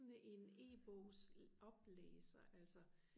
sådan en e-bogs oplæser altså